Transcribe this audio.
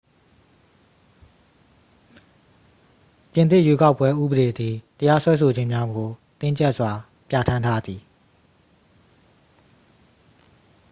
ပြင်သစ် ရွေးကောက်ပွဲ ဥပဒေသည် တရားစွဲဆိုခြင်းများကို တင်းကြပ်စွာ ပြဌာန်းထားသည်